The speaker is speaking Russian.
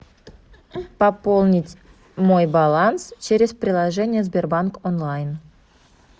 пополнить мой баланс через приложение сбербанк онлайн